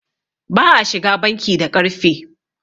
ba a shiga banki da ƙarfe